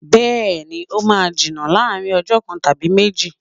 Bẹ́ẹ̀ni, ó máa jiná láàrin ọjọ kan tàbí méjì.